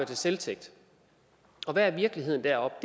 til selvtægt og hvad er virkeligheden deroppe